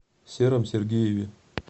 сером сергееве